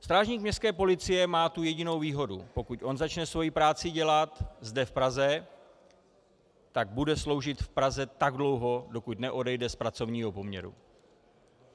Strážník městské policie má tu jedinou výhodu - pokud on začne svoji práci dělat zde v Praze, tak bude sloužit v Praze tak dlouho, dokud neodejde z pracovního poměru.